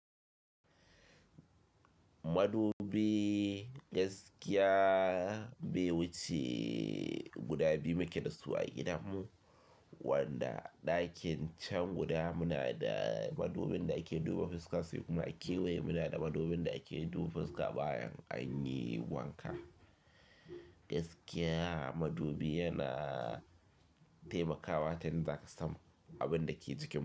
Madubi gaskiya bai wuce guda biyu muka dasu a gidanmu wanda ɗakin can guda muna da madubin da ake duba fuska sai kuma akewaye muna da madubin da ake duba fuska bayan an yi wanka. Gaskiya madubi yana taimakawa ta in za ka samu abin da ke jikin mu.